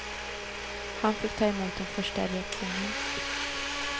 Han fick ta emot den första reaktionen.